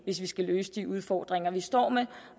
hvis vi skal løse de udfordringer vi står med